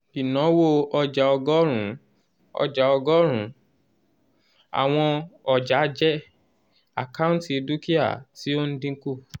ìnáwó ọjàọgọ́rùn-ún ọjà ọgọ́rùn-ún àwọn ọjàjẹ́ àkáǹtì dúkìá tí ó ń dínkù